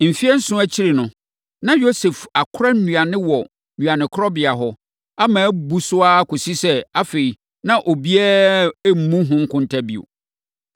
Mfeɛ nson akyiri no, na Yosef akora nnuane wɔ nnuanekorabea hɔ, ama abu so ara kɔsii sɛ, afei na obiara mmu ho nkonta bio.